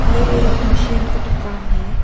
ये एक मशीन का दुकान है।